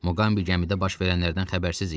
Muqambi gəmidə baş verənlərdən xəbərsiz idi.